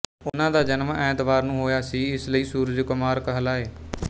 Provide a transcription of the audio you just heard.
ਉਨ੍ਹਾਂ ਦਾ ਜਨਮ ਐਤਵਾਰ ਨੂੰ ਹੋਇਆ ਸੀ ਇਸ ਲਈ ਸੁਰਜਕੁਮਾਰ ਕਹਲਾਏ